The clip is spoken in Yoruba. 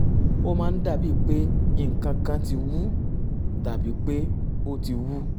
ó máa ń dàbíi pé nǹkan kan ti wú tàbí pé ó ti wú